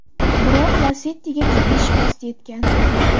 Biroq Lacetti’ga jiddiy shikast yetgan.